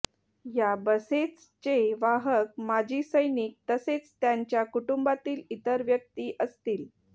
या बसेचचे वाहक माजी सैनिक तसेच त्यांच्या कुटूंबातील इतर व्यक्ती असतील